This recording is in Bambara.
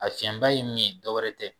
A fiɲɛba ye min ye dɔwɛrɛ tɛ